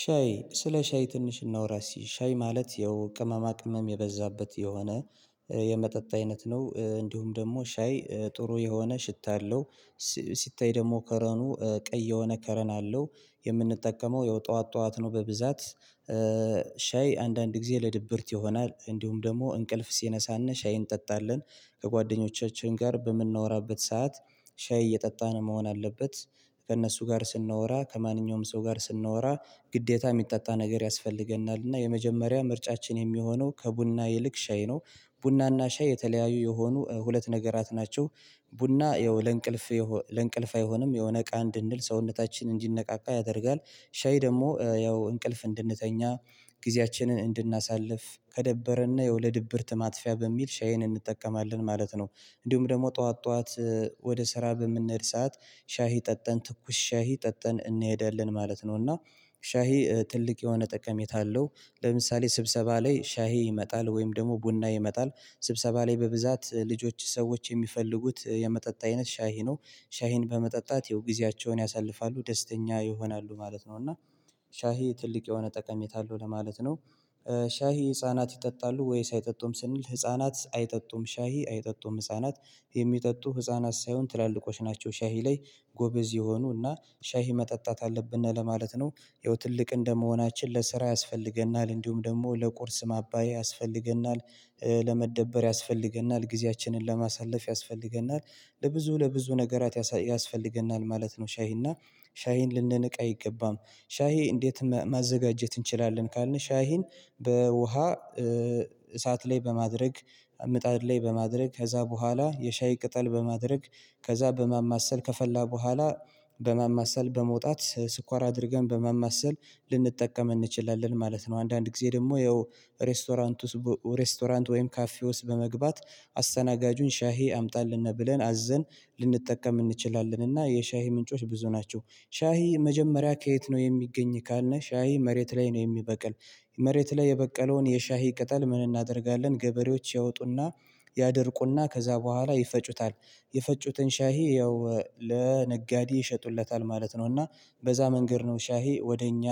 ሻይ ስለ ሻይ ትንሽ እናውራ እስቲ ሻይ ማለት ይኸው ቅመማ ቅመም የበዛበት የሆነ የመጠጥ አይነት ነው። እንዲሁም ደግሞ ሻይ ጥሩ የሆነ ሽታ አለው። ሲታይ ደግሞ ከረኑ ቀይ የሆነ ከረን አለው የምንጠቀመው የው ጠዋት ጠዋት ነው። በብዛት ሻይ አንዳንድ ጊዜ ለድብርት ይሆናል እንዲሁም ደግሞ እንቅልፍ ሲነሳና ሻይን እንጠጣለን። ከጓደኞቻችን ጋር በምናወራበት ሰዓት ሻይ እየጠጣን መሆን አለበት። ከእነሱ ጋር ስናወራ ከማንኛውም ሰው ጋር ስናወራ ግዴታ የሚጠጣ ነገር ያስፈልገናል እና የመጀመሪያ ምርጫችን የሚሆነው ከቡና ይልቅ ሻይ ነው። ቡና እና ሻይ የተለያዩ የሆኑ ሁለት ነገራት ናቸው። ቡና ይኸው ለእንቅልፍ ለእንቅልፍ አይሆንም የሆነ ነቃ እንድንል ሰውነታችን እንዲነቃቃ ያደርጋል። ሻይ ደግሞ ያው እንቅልፍ እንድንተኛ ጊዜያችንን እንድናሳልፍ ከደበረና የው ለድብርት ማጥፊያ በሚል ሻይን እንጠቀማለን ማለት ነው። እንዲሁም ደግሞ ጠዋት ጠዋት ወደ ስራ በምንሄድ ሰዓት ሻሂ ጠጥተን ትኩስ ሻሂ ጠጥተን እንሄዳለን ማለት ነው። እና ሻሂ ትልቅ የሆነ ጠቀሜታ አለው ለምሳሌ ስብሰባ ላይ ሻሂ ይመጣል ወይም ደግሞ ቡና ይመጣል ስብሰባ ላይ በብዛት ልጆች ሰዎች የሚፈልጉት የመጠጥ አይነት ሻሂ ነው። ሻሂን በመጠጣት የው ጊዜያቸውን ያሳልፋሉ ደስተኛ ይሆናሉ ማለት ነው። እና ሻሂ ትልቅ የሆነ ጠቀሜታ አለው ለማለት ነው። ሻሂ ህፃናት ይጠጣሉ ወይ ሳይጠጡም ስንል ህፃናት አይጠጡም ሻሂ አይጠጡም ህፃናት የሚጠጡ ህፃናት ሳይሆን ትላልቆች ናቸው ሻሂ ላይ ጎበዝ የሆኑና ሻሂ መጠጣት አለብንና ለማለት ነው። ይኸው ትልቅ እንደመሆናችን ለስራ ያስፈልገናል እንዲሁም ደግሞ ለቁርስ ማባዬ ያስፈልገናል። ለመደበር ያስፈልገናል ጊዜያችንን ለማሳለፍ ያስፈልገናል ለብዙ ለብዙ ነገራት ያስፈልገናል ማለት ነው። ሻሂና ሻሂን ልንንቅ አይገባም። ሻሂ እንዴት ማዘጋጀት እንችላለን ካልን ሻሂን በውሃ እሳት ላይ በማድረግ ምጣድ ላይ በማድረግ ከዛ በኋላ የሻይ ቅጠል በማድረግ ከዛ በማማሰል ከፈላ በኋላ በማማሰል በመውጣት ስኳር አድርገን በማማሰል ልንጠቀም እንችላለን ማለት ነው። አንዳንድ ጊዜ ደግሞ ይኸው ሬስቶራንት ውስጥ ሬስቶራንት ወይም ካፌ ውስጥ በመግባት አስተናጋጁን ሻሂ አምጣልን ብለን አዘን ልንጠቀም እንችላለን እና የሻሂ ምንጮች ብዙ ናቸው። ሻሂ መጀመሪያ ከየት ነው የሚገኝ ካልነህ? ሻሂ መሬት ላይ ነው የሚበቅል። መሬት ላይ የበቀለውን የሻሂ ቅጠል ምን እናደርጋለን ገበሬዎች ያወጡና ያደርቁና ከዛ በኋላ ይፈጩታል የፈጩትን ሻሂ ያው ለነጋዴ ይሸጡለታል ማለት ነው። እና በዛ መንገድ ነው ሻሂ ወደ እኛ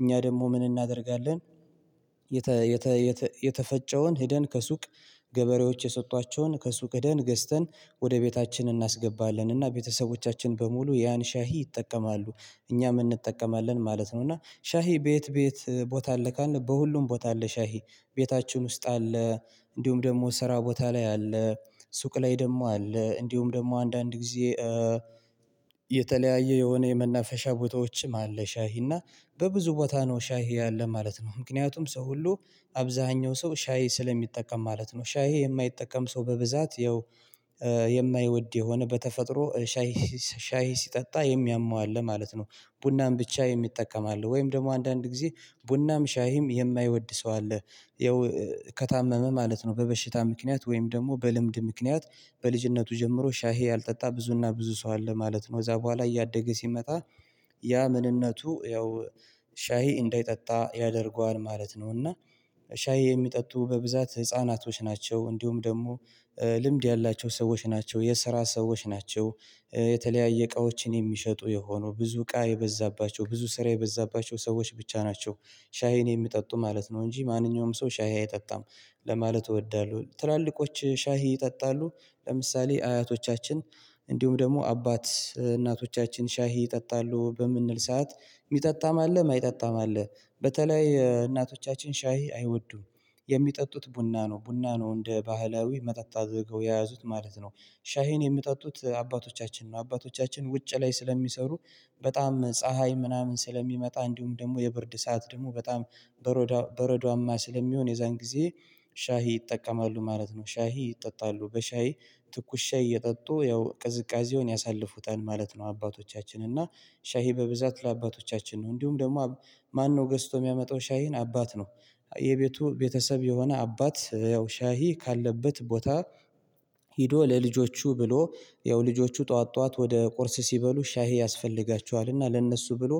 እኛ ደግሞ ምን እናደርጋለን? የተ የተ የተፈጨውን ሄደን ከሱቅ ገበሬዎች የሰጧቸውን ከሱቅ ሄደን ገዝተን ወደ ቤታችን እናስገባለን እና ቤተሰቦቻችን በሙሉ ያን ሻሂ ይጠቀማሉ እኛም እንጠቀማለን ማለት ነው። እና ሻሂ በየት በየተረ ቦታ አለ ካልን በሁሉም ቦታ አለ ሻይ ቤታችን ውስጥ አለ። እንዲሁም ደግሞ ስራ ቦታ ላይ አለ። ሱቅ ላይ ደግሞ አለ እንዲሁም ደግሞ አንዳንድ ጊዜ የተለያየ የሆነ የመናፈሻ ቦታዎችም አለ። ሻሂና በብዙ ቦታ ነው ሻይ ያለ ማለት ነው። ምክንያቱም ሰው ሁሉ አብዛኛው ሰው ሻይ ስለሚጠቀም ማለት ነው። ሻይ የማይጠቀም ሰው በብዛት ያው የማይወድ የሆነ በተፈጥሮ ሻይ ሻይ ሲጠጣ የሚያመው አለ ማለት ነው። ቡናም ብቻ የሚጠቀም አለ ወይም ደግሞ አንዳንድ ጊዜ ቡናም ሻይም የማይወድ ሰው አለ። ያው ከታመመ ማለት ነው በበሽታ ምክንያት ወይም ደግሞ በልምድ ምክንያት በልጅነቱ ጀምሮ ሻሂ ያልጠጣ ብዙና ብዙ ሰው አለ ማለት ነው። እዛ በኋላ እያደገ ሲመጣ ያ ምንነቱ ያው ሻሂ እንዳይጠጣ ያደርገዋል ማለት ነው። እና ሻሂ የሚጠጡ በብዛት ህፃናቶች ናቸው እንዲሁም ደግሞ ልምድ ያላቸው ሰዎች ናቸው የስራ ሰዎች ናቸው። የተለያየ እቃዎችን የሚሸጡ የሆኑ ብዙ እቃ የበዛባቸው ብዙ ስራ የበዛባቸው ሰዎች ብቻ ናቸው። ሻይን የሚጠጡ ማለት ነው እንጂ ማንኛውም ሰው ሻሂ አይጠጣም። ለማለት እወዳለሁ ትላልቆች ሻሂ ይጠጣሉ። ለምሳሌ አያቶቻችን እንዲሁም ደግሞ አባት እናቶቻችን ሻሂ ይጠጣሉ በምንል ሰዓት የሚጠጣም አለ የማይጠጣም አለ በተለይ እናቶቻችን ሻይ አይወዱም። የሚጠጡት ቡና ነው ቡና ነው እንደ ባህላው መጠጥ አድርገው የያዙት ማለት ነው። ሻሄን የምጠጡት አባቶቻችን ነው አባቶቻችን ውጭ ላይ ስለሚሰሩ በጣም ፀሀይ ምናምን ስለሚመጣ እንዲሁም ደግሞ የብርድ ሰዓት ደግሞ በጣም በረዷማ ስለሚሆን የዛን ጊዜ ሻሂ ይጠቀማሉ ማለት ነው። ሻሂ ይጠጣሉ በሻሂ ትኩሻ እየጠጡ ያው ቅዝቃዜውን ያሳልፉታል ማለት ነው። አባቶቻችን እና ሻሂ በብዛት ለአባቶቻችን ነው። እንዲሁም ደግሞ ማነው ገዝቶ የሚያመጣው ሻሂን አባት ነው? የቤቱ ቤተሰብ የሆነ አባት ያው ሻሂ ካለበት ቦታ ሄዶ ለልጆቹ ብሎ ያው ልጆቹ ጠዋት ጠዋት ወደ ቁርስ ሲበሉ ሻሂ ያስፈልጋቸዋልና ለእነሱ ብሎ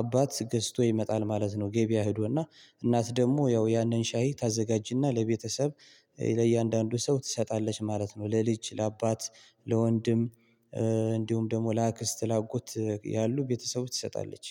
አባት ገዝቶ ይመጣል ማለት ነው። ገበያ ሄዶና እናት ደግሞ ያው ያንን ሻይ ታዘጋጅና ለቤተሰብ ለእያንዳንዱ ሰው ትሰጣለች ማለት ነው። ለልጅ ለአባት ለወንድም እንዲሁም ደግሞ ለአክስት ላጎት ያሉ ቤተሰቡ ትሰጣለች